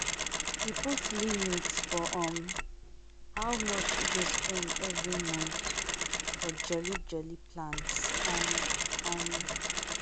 e put limit for um how much e go spend every month for jolly jolly plans. um um